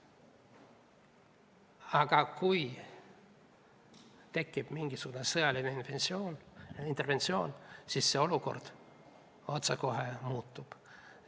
Aga kui tekib mingisugune sõjaline interventsioon, siis see olukord otsekohe muutub.